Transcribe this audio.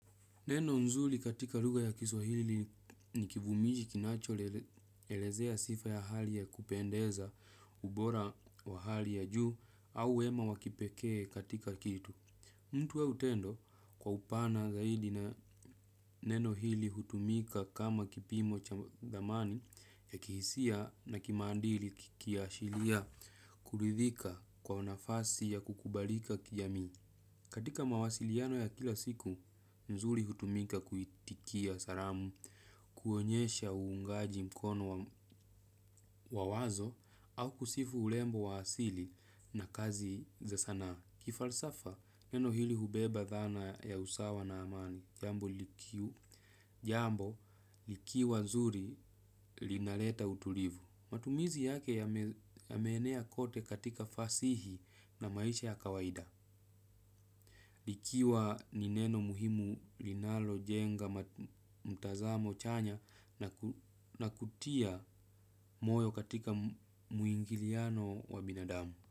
Neno nzuli katika luga ya kiswahili ni kivumishi kinacho elezea sifa ya hali ya kupendeza ubora wa hali ya juu au wema wakipekee katika kitu. Mtu au tendo kwa upana zaidi na neno hili hutumika kama kipimo cha thamani ya kihisia na kimandili kiaashilia kulidhika kwa unafasi ya kukubalika kijami. Katika mawasiliano ya kila siku, nzuri hutumika kuitikia saramu, kuonyesha uungaji mkono wa wazo, au kusifu ulembo waasili na kazi za sanaa. Kifalsafa, neno hili hubeba dhana ya usawa na amani, jambo likiwa nzuri linaleta utulivu. Matumizi yake yameenea kote katika fasihi na maisha ya kawaida. Likiwa ni neno muhimu linalo jenga mtazamo chanya na kutia moyo katika muingiliano wa binadamu.